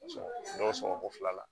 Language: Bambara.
Dɔ sɔngɔ ko fila la